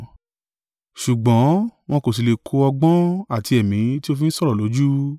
ṣùgbọ́n wọn kò sí lè ko ọgbọ́n àti Ẹ̀mí tí ó fi ń sọ̀rọ̀ lójú.